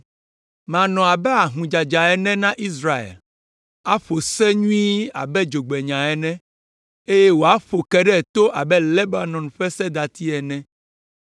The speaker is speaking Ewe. Manɔ abe ahũdzadza ene na Israel, aƒo se nyuie abe dzogbenya ene, eye wòaƒo ke ɖe to abe Lebanon ƒe sedati ene.